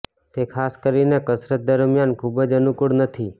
તે ખાસ કરીને કસરત દરમિયાન ખૂબ જ અનુકૂળ નથી